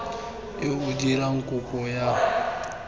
yo o dirang kopo ya